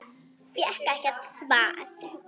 Fékk ekkert svar.